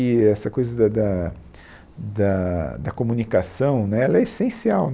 que essa coisa da da da da comunicação né ela é essencial.